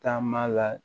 Taama la